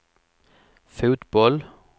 fotboll